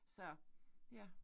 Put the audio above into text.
Så ja